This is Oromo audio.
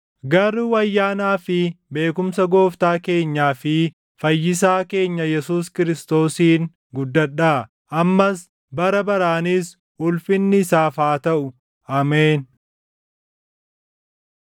Garuu ayyaanaa fi beekumsa Gooftaa keenyaa fi Fayyisaa keenya Yesuus Kiristoosiin guddadhaa. Ammas, bara baraanis ulfinni isaaf haa taʼu! Ameen.